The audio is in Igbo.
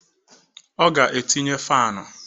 Ọ ga etinye faanụ